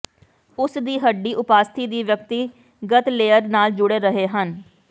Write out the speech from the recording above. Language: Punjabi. ਉਸ ਦੀ ਹੱਡੀ ਉਪਾਸਥੀ ਦੀ ਵਿਅਕਤੀਗਤ ਲੇਅਰ ਨਾਲ ਜੁੜੇ ਰਹੇ ਹਨ